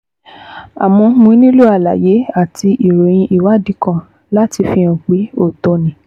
Àmọ́ mo nílò àlàyé àti ìròyìn ìwádìí kan láti fi hàn pé òótọ́ ni